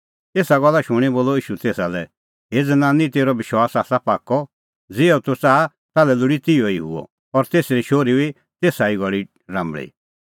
एसा गल्ला शूणीं बोलअ ईशू तेसा लै हे ज़नानी तेरअ विश्वास आसा पाक्कअ ज़िहअ तूह च़ाहा ताल्है लोल़ी तिहअ ई हुअ और तेसरी शोहरी हुई तेसा ई घल़ी राम्बल़ी